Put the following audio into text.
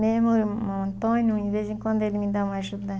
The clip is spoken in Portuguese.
Mesmo o Antônio, de vez em quando ele me dá uma ajuda.